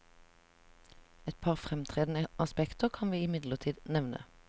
Et par fremtredende aspekter kan vi imidlertid nevne.